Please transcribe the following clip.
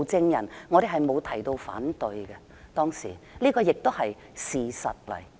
當時我們沒提出反對，這也是事實。